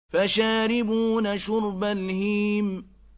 فَشَارِبُونَ شُرْبَ الْهِيمِ